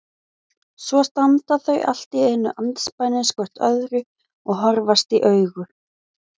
Svo standa þau allt í einu andspænis hvort öðru og horfast í augu.